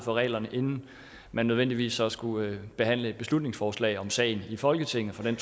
reglerne inden man nødvendigvis skulle behandle et beslutningsforslag om sagen i folketinget for den